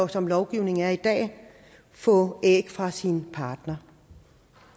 som lovgivningen er i dag få æg fra sin partner